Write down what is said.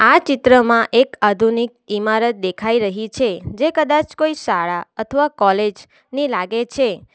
આ ચિત્રમાં એક આધુનિક ઈમારત દેખાઈ રહી છે જે કદાચ કોઈ શાળા અથવા કોલેજ ની લાગે છે.